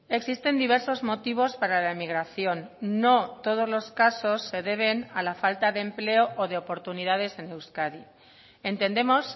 existen diversos motivos para la emigración no todos los casos se deben a la falta de empleo o de oportunidades en euskadi entendemos